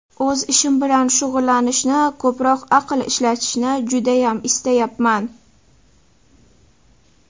O‘z ishim bilan shug‘ullanishni, ko‘proq aql ishlatishni judayam istayapman.